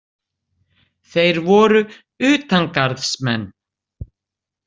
Þeir voru utangarðsmenn.